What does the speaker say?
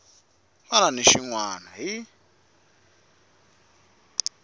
wana na xin wana hi